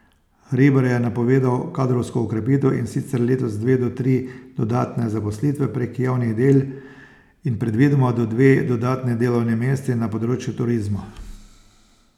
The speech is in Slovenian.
Hribar je napovedal kadrovsko okrepitev, in sicer letos dve do tri dodatne zaposlitve prek javnih del in predvidoma do dve dodatni delovni mesti na področju turizma.